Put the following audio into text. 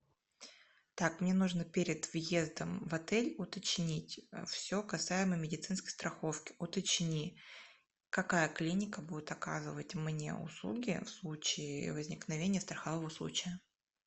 так мне нужно перед въездом в отель уточнить все касаемо медицинской страховки уточни какая клиника будет оказывать мне услуги в случае возникновения страхового случая